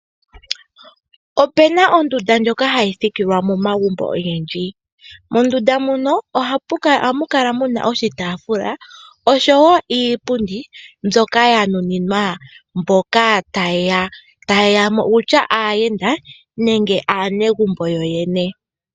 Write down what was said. Opuna ondunda ndjoka hayi thikilwa momagumbo ogendji, mondunda muno ohamu kala muna oshitaafula osho wo iipundi mbyoka yanuninwa mboka ta yeyamo owutya aayenda nenge aanegumbo yoyene.